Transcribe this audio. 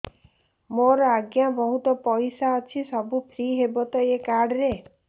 ମୋର ଆଜ୍ଞା ବହୁତ ପଇସା ଅଛି ସବୁ ଫ୍ରି ହବ ତ ଏ କାର୍ଡ ରେ